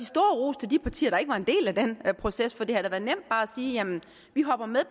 stor ros til de partier der ikke var en del af den proces for det havde da været nemt bare at sige vi hopper med